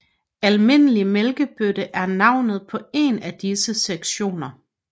Almindelig mælkebøtte er navnet på en af disse sektioner